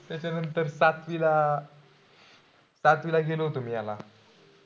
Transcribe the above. त्याच्यानंतर सातवीला, सातवीला गेलो होतो मी ह्याला